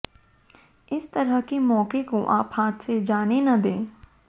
इस तरह के मौके को आप हाथ से जाने न दें